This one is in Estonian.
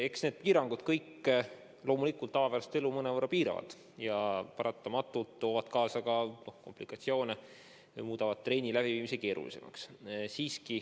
Eks need piirangud kõik loomulikult tavapärast elu mõnevõrra piiravad ja paratamatult toovad kaasa komplikatsioone, muutes ka treeningute läbiviimise keerulisemaks.